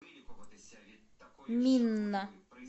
минна